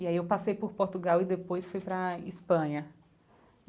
E aí eu passei por Portugal e depois fui para a Espanha.